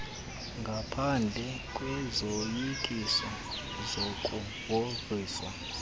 ngaphendle kwezoyikiso zokugrogriswa